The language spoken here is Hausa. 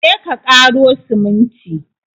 Je ka ƙaro siminti!